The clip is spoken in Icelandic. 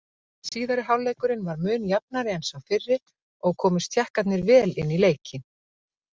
Síðari hálfleikurinn var mun jafnari en sá fyrri og komust Tékkarnir vel inn í leikinn.